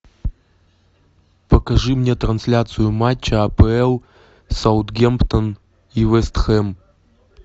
покажи мне трансляцию матча апл саутгемптон и вест хэм